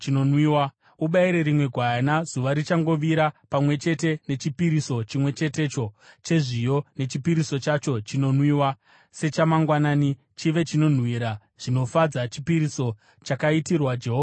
Ubayire rimwe gwayana zuva richangovira pamwe chete nechipiriso chimwe chetecho chezviyo nechipiriso chacho chinonwiwa sechamangwanani, chive chinonhuhwira zvinofadza, chipiriso chakaitirwa Jehovha nomoto.